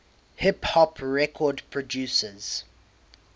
hip hop record producers